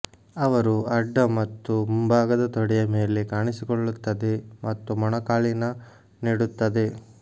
ಅವರು ಅಡ್ಡ ಮತ್ತು ಮುಂಭಾಗದ ತೊಡೆಯ ಮೇಲೆ ಕಾಣಿಸಿಕೊಳ್ಳುತ್ತದೆ ಮತ್ತು ಮೊಣಕಾಲಿನ ನೀಡುತ್ತದೆ